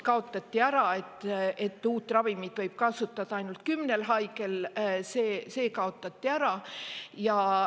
Kaotati ära see, et uut ravimit võis kasutada ainult kümne haige, see kaotati ära.